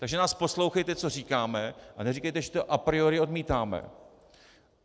Takže nás poslouchejte, co říkáme, a neříkejte, že to a priori odmítáme.